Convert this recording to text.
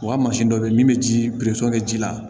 U ka mansin dɔ bɛ yen min bɛ ji kɛ ji la